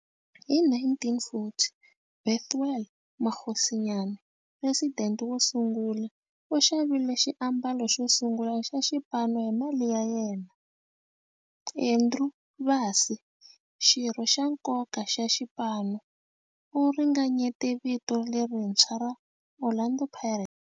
Hi 1940, Bethuel Mokgosinyane, president wo sungula, u xavile xiambalo xosungula xa xipano hi mali ya yena. Andrew Bassie, xirho xa nkoka xa xipano, u ringanyete vito lerintshwa ra 'Orlando Pirates'.